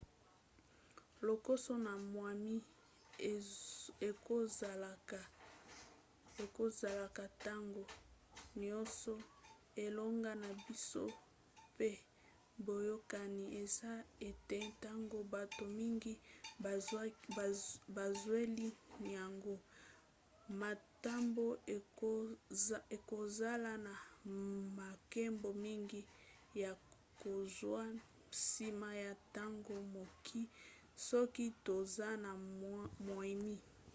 lokoso na moimi ekozalaka ntango nioso elongo na biso pe boyokani eza ete ntango bato mingi bazweli yango matomba ekozala na makambo mingi ya kozwa nsima ya ntango mokie soki toza na moimi